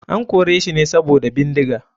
An koreshi ne sabida bindiga.